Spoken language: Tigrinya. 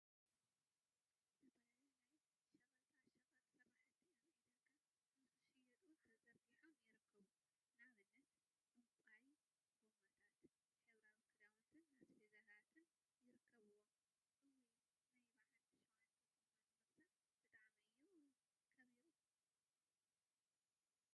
ዝተፈላለዩ ናይ ሸቀጣ ሸቀጥ ስራሕቲ አብ ዕዳጋ ንክሽየጡ ተዘርጊሖም ይርከቡ፡፡ ንአብነት ዕንቋይ ጎማታት፣ ሕብራዊ ክዳውንቲን አስቤዛታትን ይርከቡዎም፡፡ እውይ! ናይ በዓል ሸውዓተ ጎማ ንምግዛእ ብጣዕሚ እዩ ከቢሩ፡፡